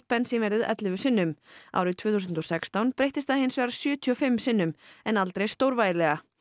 bensínverðið ellefu sinnum árið tvö þúsund og sextán breyttist það hins vegar sjötíu og fimm sinnum en aldrei stórvægilega